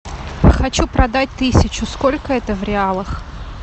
хочу продать тысячу сколько это в реалах